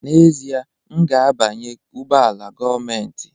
N'ezie, m ga-abanye ụgbọ ala gọọmentị